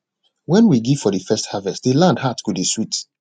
when we give for de first harvest de land heart go dey sweet